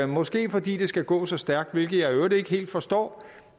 måske fordi det skal gå så stærkt hvilket jeg i øvrigt ikke helt forstår